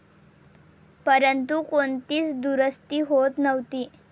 परंतु, कोणतीच दुरुस्ती होत नव्हती.